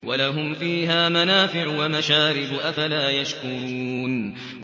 وَلَهُمْ فِيهَا مَنَافِعُ وَمَشَارِبُ ۖ أَفَلَا يَشْكُرُونَ